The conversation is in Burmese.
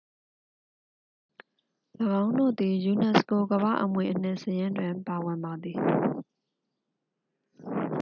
၎င်းတို့သည် ယူနက်စကို ကမ္ဘာ့အမွေအနှစ်စာရင်းတွင် ပါဝင်ပါသည်